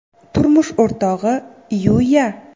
turmush o‘rtog‘i Yu.Ya.